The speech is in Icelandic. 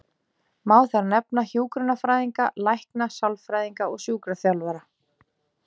Má þar nefna hjúkrunarfræðinga, lækna, sálfræðinga og sjúkraþjálfara.